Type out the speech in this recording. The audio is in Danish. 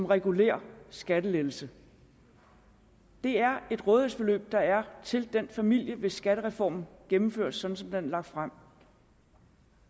regulær skattelettelse det er et øget rådighedsbeløb der er til den familie hvis skattereformen gennemføres sådan som den er lagt frem